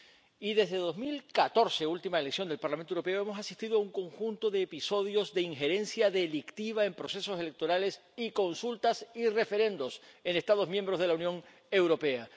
Y desde 2014, última elección al Parlamento Europeo, hemos asistido a un conjunto de episodios de injerencia delictiva en procesos electorales y consultas y referendos en Estados miembros de la Unión Europea.